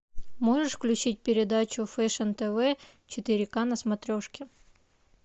можешь включить передачу фэшн тв четыре ка на смотрешке